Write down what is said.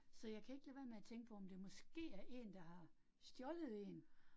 Så jeg kan ikke lade være med at tænke på, om det måske er én, der har stjålet 1